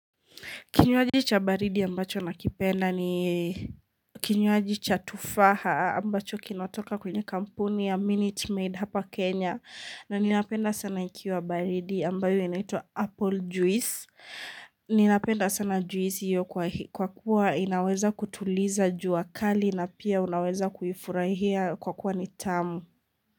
Kinywaji cha baridi ambacho nakipenda ni kinywaji cha tufaha ambacho kinatoka kwenye kampuni ya Minute Maid hapa Kenya. Na ninapenda sana ikiwa baridi ambayo inaitwa Apple juice. Ninapenda sana juisi hiyo kwa kuwa inaweza kutuliza jua kali na pia unaweza kuifurahia kwa kuwa ni tamu.